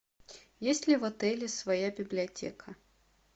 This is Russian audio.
есть ли в отеле своя библиотека